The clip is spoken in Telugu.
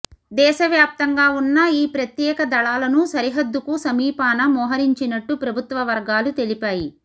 దేశవ్యాప్తంగా ఉన్న ఈ ప్రత్యేక దళాలను సరిహద్దుకు సమీపాన మోహరించినట్టు ప్రభుత్వ వర్గాలు తెలిపాయి